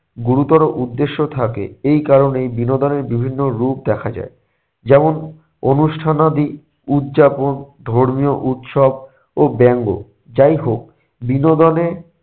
গুরুতর উদ্দেশ্য থাকে এই কারণেই বিনোদনের বিভিন্ন রূপ দেখা যায়। যেমন অনুষ্ঠানাদি উৎযাপন ধর্মীয় উৎসব ও ব্যঙ্গ। যাই হোক বিনোদনে